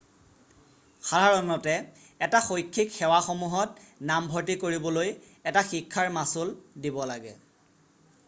সাধাৰণতে এই শৈক্ষিক সেৱাসমূহত নামভৰ্তি কৰিবলৈ এটা শিক্ষাৰ মাচুল দিব লাগে